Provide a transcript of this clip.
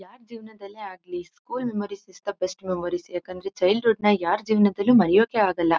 ಯಾರ್ ಜೀವನದಲ್ಲೇ ಆಗಲಿ school memories is the best memories ಯಾಕಂದ್ರೆ ಚೈಲ್ಡ್ ಹುಡ್ ನ ಯಾರ್ ಜೀವನದಲ್ಲೂ ಮರೆಯೋಕೆ ಆಗಲ್ಲ.